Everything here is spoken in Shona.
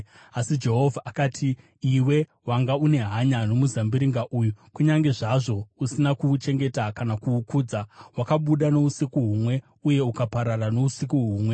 Asi Jehovha akati, “Iwe wanga une hanya nomuzambiringa uyu, kunyange zvazvo usina kuuchengeta kana kuukudza. Wakabuda nousiku humwe uye ukaparara nousiku humwe.